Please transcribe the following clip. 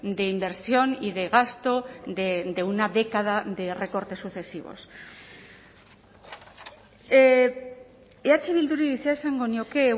de inversión y de gasto de una década de recortes sucesivos eh bilduri zer esango nioke